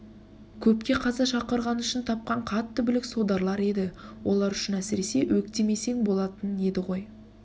көпке қаза шақырғаны үшін тапқан қатты бүлік содарлар еді олар үшін әсіресе өктемесең болатын еді ғой